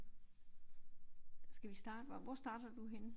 Skal vi starte hvor starter du henne?